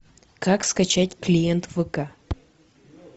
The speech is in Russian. как скачать клиент вк